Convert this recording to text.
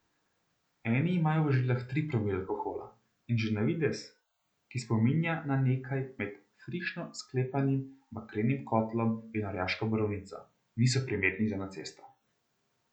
Eni imajo v žilah tri promile alkohola in že na videz, ki spominja na nekaj med na frišno sklepanim bakrenim kotlom in orjaško borovnico, niso primerni za na cesto.